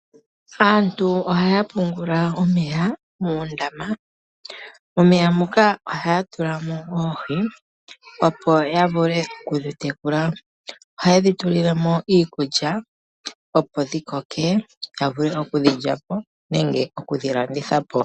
Aantu ohaya pungula omeya moondama. Momeya ohamu tulwa oohi ndhoka hadhi tekulwa. Ohadhi tulilwa mo iikulya opo dhikoke dhi vule okuliwa nenge okulandithwa.